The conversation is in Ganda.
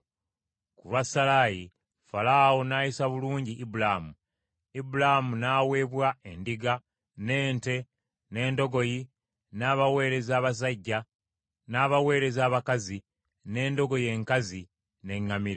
Ku lwa Salaayi, Falaawo n’ayisa bulungi Ibulaamu. Ibulaamu n’aweebwa endiga, n’ente, n’endogoyi, n’abaweereza abasajja, n’abaweereza abakazi, n’endogoyi enkazi, n’eŋŋamira.